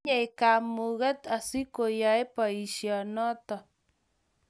Tinyei kamugeet asikoyei boisiet noto